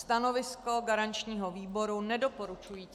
Stanovisko garančního výboru nedoporučující.